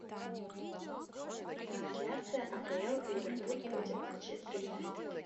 трансляция апл ливерпуль против манчестер юнайтед